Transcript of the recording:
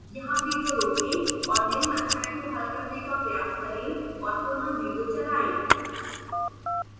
यहाँ विडियो रोकें और निम्न अध्याय को हल करने का प्रयास करें और पुनः विडियो चलाएं